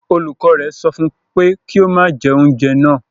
Olùkọ́ rẹ̀ sọ fún un pé kí ó má jẹ oúnjẹ náà